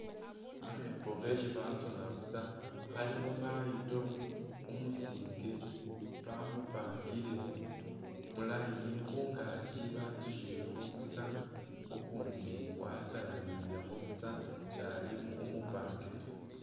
akhepo khesi basona busa khalikho mayito umusinge ,bamupangile mu line, khungaki batsukhilekho busa ukundi wasalanilekho busa ,shyali umu umupange taa